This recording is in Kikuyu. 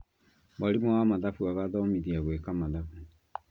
Mwarimũ wa mathabu agathomithia gwĩka mathabu